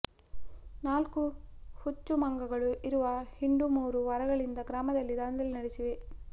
ನಾಲ್ಕು ಹುಚ್ಚು ಮಂಗಗಳು ಇರುವ ಹಿಂಡು ಮೂರು ವಾರಗಳಿಂದ ಗ್ರಾಮದಲ್ಲಿ ದಾಂಧಲೆ ನಡೆಸಿವೆ